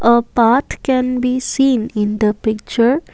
a path can be seen in the picture.